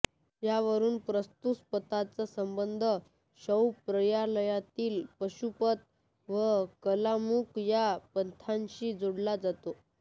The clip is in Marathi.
यावरून प्रस्तूत पंथाचा संबंध शैव संप्रदायातील पाशुपत व कालमुख या पंथांशी जोडला जातो